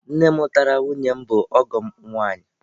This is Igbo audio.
Nne mụtara nwunye m bụ ọgọ m nwaanyị.